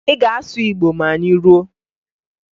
Ị ga-asụ Igbo ma anyị ruo!